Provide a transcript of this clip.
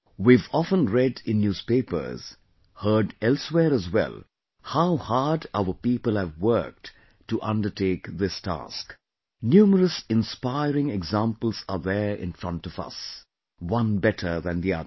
We've often read in newspapers, heard elsewhere as well how hard our people have worked to undertake this task; numerous inspiring examples are there in front of us, one better than the other